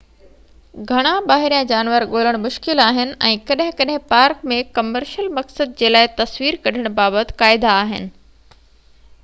گهڻا ٻاهريان جانور ڳولڻ مشڪل آهن ۽ ڪڏهن ڪڏهن پارڪ ۾ ڪمرشل مقصد جي لاءِ تصوير ڪڍڻ بابت قاعدا آهن